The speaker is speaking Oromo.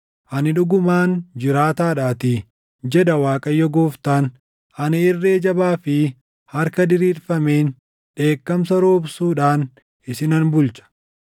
Ani dhugumaan jiraataadhaatii, jedha Waaqayyo Gooftaan; ani irree jabaa fi harka diriirfameen, dheekkamsa roobsuudhaan isinan bulcha.